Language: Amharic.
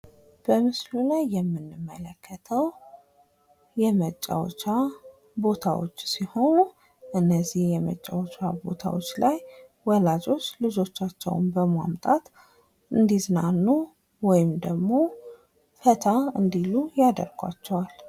በምስሉ ላይ የምንመለከተው የመጫወቻ ቦታዎች ሲሆን እነዚህ የመጫወቻ ቦታዎች ላይ ወላጆች ልጆቻቸውን በማምጣት እንዲዝናኑ ወይም ደሞ ፈታ እንዲሉ ያደርጓቸዋል።